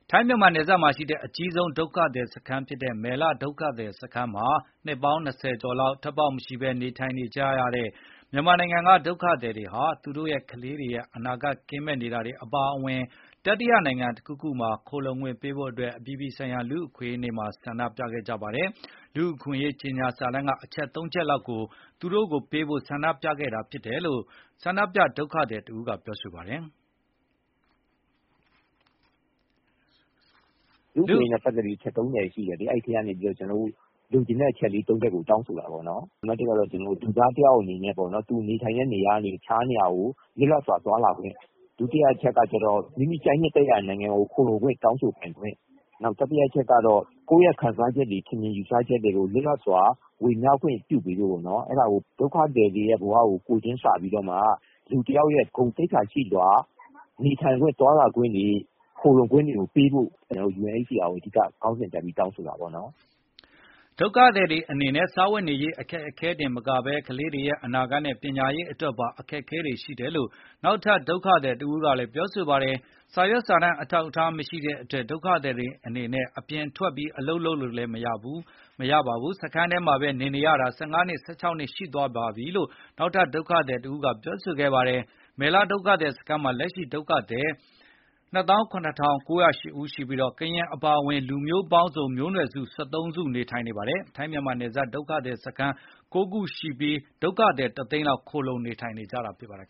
ထိုင်းမြန်မာနယ်စပ်မှာရှိတဲ့ အကြီးဆုံးဒုက္ခသည်စခန်းဖြစ်တဲ့ မယ်လဒုက္ခသည်စခန်းမှာ နှစ်ပေါင်း ၂၀ ကျော်လောက် ထွက်ပေါက်မရှိဘဲ နေထိုင်နေကြရတဲ့ မြန်မာနိုင်ငံက ဒုက္ခသည်တွေက သူတို့ ကလေးတွေရဲ့ အနာဂတ်ကင်းမဲ့ နေတာတွေ အပါအဝင် တတိယနိုင်ငံတခုခုမှာ ခိုလှုံပေးဖို့တို့အတွက် အပြည်ပြည်ဆိုင်ရာလူ့အခွင့်အရေးနေ့မှာ ဆန္ဒပြခဲ့ကြပါတယ်။ လူအခွင့်ရေးကြေငြာစာတမ်းကအချက် (၃)ချက်လောက်ကို သူတို့ပေးဖို့ဆန္ဒပြခဲ့ကြတာဖြစ်တယ်လို့ ဆန္ဒပြဒုက္ခ သည်တဦးကပြောပါတယ်။ Act: “လူ့အခွင့်ရေးနဲ့ပတ်သက်ပြီး အချက် ၃၀ ရှိတယ် ကျနော်တို့ကတော့လိုချင်တဲ့အချက် (၃)ချက်ကိုတောင်းဆို တာပေါ့နော်။ပထမအချက်ကတော့ လူသားတယောက်အနေနဲ့ သူနေထိုင်တဲ့နေရာကနေ တခြားနေရာကို လွတ်လပ်စွာသွားလာခွင့်။ မိမိကြိုက်နှစ်သက်ရာနိုင်ငံကိုခိုလှုံခွင့် တောင်းဆိုပိုင်ခွင့်။ကိုယ်ရဲ ခံစားချက့်ထင်မြင်ယူ ဆချက်တွေကိုလွတ်လပ်စွာ ဝေမျှခွင့်ရဖို့UNHCR ကိုတောင်ဆိုတာပေါ့နော်၊ ဒုကသည်ဘဝကို ကိုယ်ချင်းစာပြီး လူတယောက်ရဲ သွားလာခွင့် ခိုလှုံခွင့်ပေးဖို့ရွေးချယ်ခွင့်ပေးဖို့အနူးအညွတ်တောင်းဆိုပါတယ်” ဒုက္ခသည်တွေအနေနဲ့ စားဝတ်နေရေး အခက်အခဲတင်မကဘဲ ကလေးတွေရဲ့ အနာဂတ်နဲ့ပညာရေးအတွက်ပါ အခက်အခဲတွေရှိတယ်လို့နောက်ထပ်ဒုက္ခသည်တဦးကပြောပါတယ်။ စာရွက်စာတမ်းအထောက်အထားမရှိတဲ့အတွက် ဒုက္ခသည်တွေအနေနဲ့ ပြင်ထွက်အလုပ်လုပ်မရဘဲ၊ စခန်းထဲမှာ ဘဲနေနေရတာ ၁၅ နှစ် ၁၆ နှစ်ရှိသွားပြီလို့ နောက်ထပ် ဒုက္ခသည်တဦးကတော့ပြောဆိုပါတယ်။ မယ်လဒုက္ခသည် စခန်းမှာ လက်ရှိဒုက္ခသည် ၂၇,၉၀၈ ဦးရှိပြီး ကရင်အပါအဝင် လူမျိုးပေါင်းစုံ မျိုးနွယ် စု ၁၃ မျိုး နေထိုင်နေတာပါ။ ထိုင်းမြန်မာနယ်စပ်မှာ ဒုက္ခသည်စခန်း ၉ ခုရှိပြီး ဒုက္ခသည်တ သိန်းလောက် ခိုလှုံနေထိုင်နေကြတာဖြစ်ပါတယ်